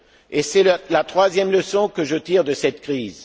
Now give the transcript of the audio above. Et c'est la troisième leçon que je tire de cette crise.